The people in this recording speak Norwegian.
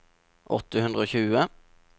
åtte hundre og tjue